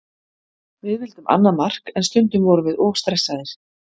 Við vildum annað mark en stundum vorum við of stressaðir.